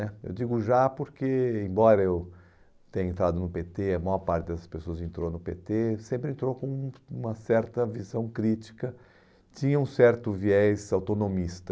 né eu digo já porque, embora eu tenha entrado no pê tê, a maior parte das pessoas entrou no pê tê, sempre entrou com uma certa visão crítica, tinha um certo viés autonomista.